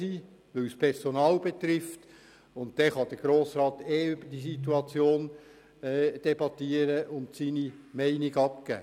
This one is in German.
Dann kann der Grosse Rat über die Situation debattieren und seine Meinung dazu abgeben.